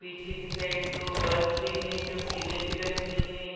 पीछे की साइड दो बस भी हैं जो पिले कलर की है ।